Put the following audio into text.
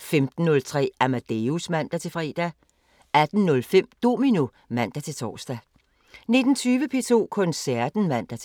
15:03: Amadeus (man-fre) 18:05: Domino (man-tor) 19:20: P2 Koncerten (man-fre)